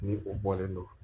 Ni o bɔlen don